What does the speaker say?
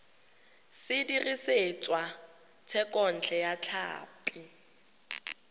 se dirisitswe thekontle ya tlhapi